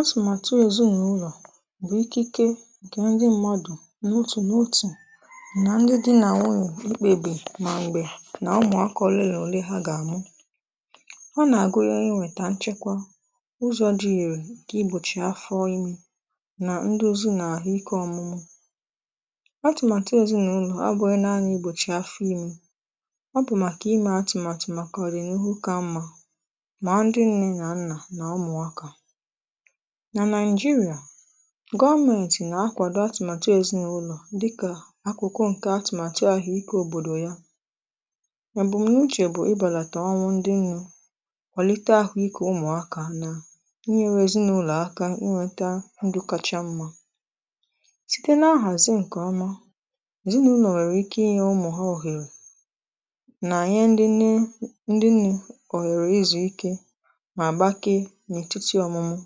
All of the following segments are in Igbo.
atụ̀màtụ ezi n’ụlọ̀ bụ̀ ikike ǹkè ndị mmadụ̀ n’otù n’otù nà ndị di nà nwunyè ịkpebì mà m̀gbè nà ụmụ̀aka olele na òle ha gà-àmụ ọ nà-àgụ ya ịnweta nchekwa ụzọ̇ dị i irè kà ịgbòchì afọ ịme nà ndụzi na àhụikė ọmụmụ atụ̀màtụ ezinàụlọ̀ abụ̇ghị naanị ịgbòchì afọ ime ọ bụ̀ màkà ịmè atụ̀màtụ màkà ọdịnihu ka mmȧ mà ndị nne nà nnà nà ụmụ̀aka nà naịjirịà gọvmentị na-akwàdò atụmatụ èzinụlọ̀ dịkà akụkọ ǹke atụmatụ ahụike òbòdò ya èbùm̀nuche bụ̀ ịbàlàtà ọnwụ ndị nne kwàlite ahụikė ụmụ̀akȧ na ịnyere èzinụlọ̀ aka ịnweta ndụ kacha mmȧ site nà-nhàzi ǹkè ọma èzinụlọ̀ nwèrè ike ịnye ụmụ̀ ha òhèrè nà nye ndị nụ ndị nne òhèrè izùike nà gbakee n’etiti ọmụmụ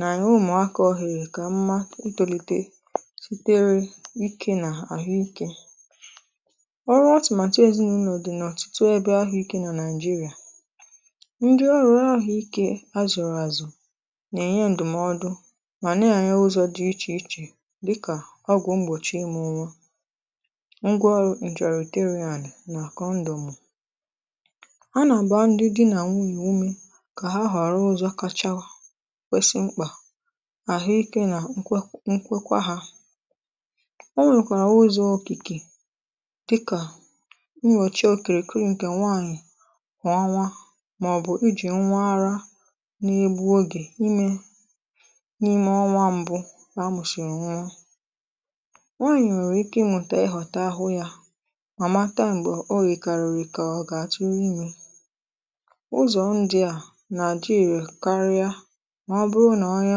na ụmụ̀akȧ ohere kà mma ịtòlite sitere ike nà àhụikė ọrụ atụmàtụ ezinaụlọ̀ dị̀ n’ọ̀tụtụ ebe ahụ̀ ike na nàị̀jịrị̀à ndị ọrụ ahụ ikė azụ̀rụ̀ àzụ̀ nà-ènye ndụ̀mọdụ mà nà-enye ụzọ̇ dị ichè ichè dịkà ọgwụ̀ mgbòchi ịmụ̇ nwa ngwa ọrụ ǹjàrà ètere ànị̀ nà kọndọmụ a gbaa ndị dị nà nwunyè umė kà ha họrọ ụzọ kachara kwesị mkpà àhụ ikė nà nkwe nkwe kwa hȧ ọ nwèkwàrà ụzọ̀ okìkè dịkà nnyòchìe okèrè kriǹkè nwaànyị̀ kwà ọnwa màọ̀bù ijì nwa arȧ na-ebu ogè imė n’ime ọnwa m̀bụ amụsịrị nwanyị nwèrè ike ịnwùtè ịghọ̀tà ahụ yȧ mà mata m̀gbè ogè karị̀rị̀ kà ọ gà-àtụrụ ime ụzọ̀ ndị à nà adị ire karịa mà ọ bụrụ nà onye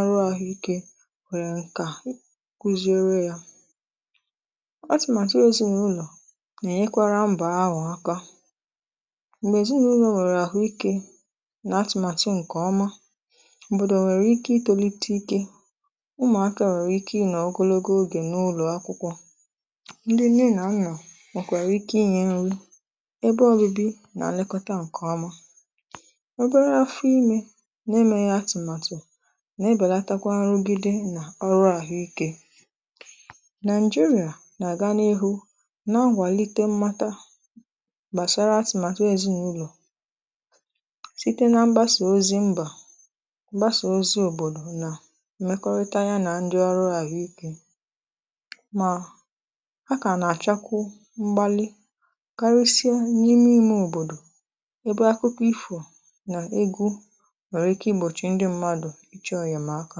ọrụ àhụ ikė nwere ǹkà kwuzere ya atụ̀màtụ̀ ezinụlọ̀ nà-ènyekwara mbà aghọ̀ aka m̀gbè ezinụlọ̀ nwèrè àhụ ikė nà atụ̀màtụ ǹkè ọma obodo nwèrè ike ịtòlite ikė ụmụ̀akȧ nwèrè ike ị nọ ogologo ogè n’ụlọ̀ akwụkwọ ndị nne nà nà nwèkwerè ike inyė nri ebe ọbụbị nà-nlekọta ǹkè ọma ụdịrị afọ ime na-enweghị atụmatụ ga-ebàlàtakwa nrụgide na nà ọrụ àhụ ikė naịjirịà nà-àga n’ihu na-nwàlite mmata gbàsara atị̀màtụ èzinàụlọ̀ site na mgbasa ozi mbà mgbasa ozi òbòdò nà mmekọrịta ya na ndị ọrụ àhụ ikė mà a kà nà-àchakwu mgbalị karịsịa n’ime ime òbòdò ebe akụkọ̀ ịfo nà egwu nwere ike ịgbòchì ndị mmadụ ịchọ enyemaka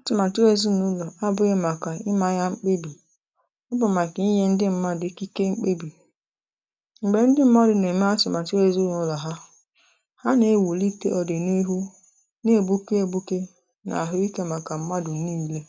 atụ̀màtụ̀ ezinàụlọ̀ abụghị màkà ịmȧ ya mkpebì ọ bụ màkà ịnye ndị ṁmȧdụ̀ ikike mkpebì m̀gbè ndị ṁmadụ̀ nà-ème atụ̀màtụ ezinàụlọ̀ ha ha nà-ewùlite ọ̀dị̀nihu na-ègbuke egbukė nà àhụ ikė màkà mmadụ̀ niile